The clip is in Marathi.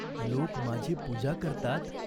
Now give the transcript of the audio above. लोक माझी पूजा करतात.